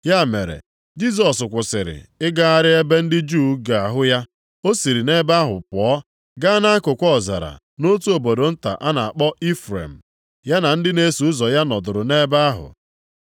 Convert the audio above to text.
Ya mere, Jisọs kwụsịrị ịgagharị ebe ndị Juu ga-ahụ ya. O siri nʼebe ahụ pụọ gaa nʼakụkụ ọzara nʼotu obodo nta a na-akpọ Ifrem. Ya na ndị na-eso ụzọ ya nọdụrụ nʼebe ahụ.